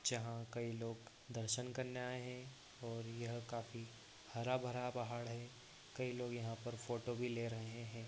जहा कई लोग दर्शन करने आये हैं और यह काफी हरा-भरा पहाड़ है कई लोग यहाँ पर फोटो भी ले रहे है।